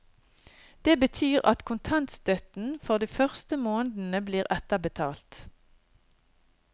Det betyr at kontantstøtten for de første månedene blir etterbetalt.